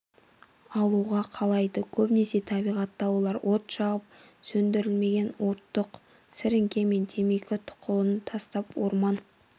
алуға қалайды көбінесе табиғатта олар от жағып сөндірілмеген оттық сіріңке мен темекі тұқылын тастап орман